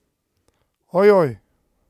Ojoj!